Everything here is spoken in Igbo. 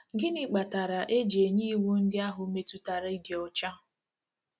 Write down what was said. Gịnị kpatara e ji nye iwu ndị ahụ metụtara ịdị ọcha?